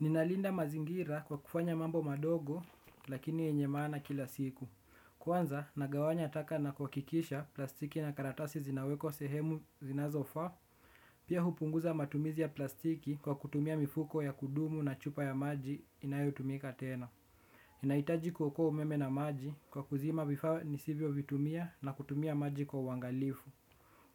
Ninalinda mazingira kwa kufanya mambo madogo lakini yenye maana kila siku. Kwanza nagawanya taka na kuakikisha plastiki na karatasi zinawekwa sehemu zinazofaa. Pia hupunguza matumizi ya plastiki kwa kutumia mifuko ya kudumu na chupa ya maji inayotumika tena naitaji kuokoa umeme na maji kwa kuzima vifaa nisivyovitumia na kutumia maji kwa uangalifu.